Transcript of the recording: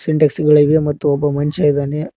ಸಿಂಟೆಕ್ಸ್ ಗಳಿವೆ ಮತ್ತು ಒಬ್ಬ ಮನ್ಷ್ಯ ಇದಾನೆ.